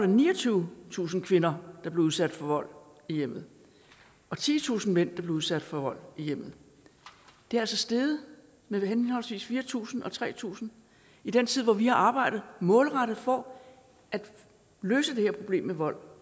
niogtyvetusind kvinder der blev udsat for vold i hjemmet og titusind mænd der blev udsat for vold i hjemmet det er altså steget med henholdsvis fire tusind og tre tusind i den tid hvor vi har arbejdet målrettet for at løse det her problem med vold